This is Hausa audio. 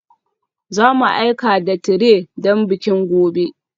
Za mu aika da tire don bikin gobe